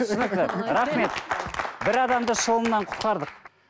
түсінікті рахмет бір адамды шылымнан құтқардық